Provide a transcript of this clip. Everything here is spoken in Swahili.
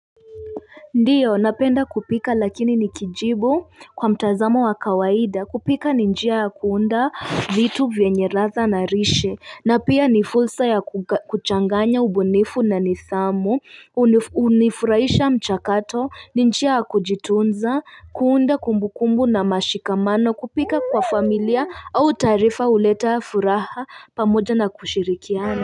Ndiyo napenda kupika lakini nikijibu kwa mtazamo wa kawaida kupika ni njia ya kuunda vitu vyenye ratha na rishe na pia ni fulsa ya kuchanganya ubunifu na nisamu Unifuraisha mchakato ni njia ya kujitunza kuunda kumbu kumbu na mashikamano kupika kwa familia au taarifa uleta furaha pamoja na kushirikiana.